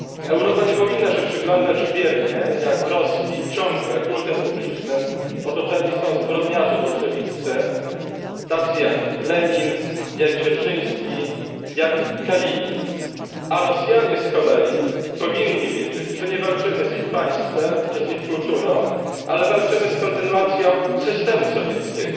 Europa nie powinna się biernie przyglądać, jak w Rosji ciągle kultem publicznym otoczeni są zbrodniarze bolszewicy, tacy jak Lenin, jak Dzierżyński, jak Kalinin, a Rosjanie z kolei powinni wiedzieć, że nie walczymy z ich państwem czy ich kulturą, ale walczymy z kontynuacją systemu sowieckiego,